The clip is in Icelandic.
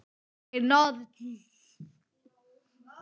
Ég er norn.